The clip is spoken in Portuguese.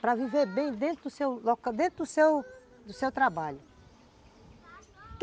para viver bem dentro do seu seu trabalho.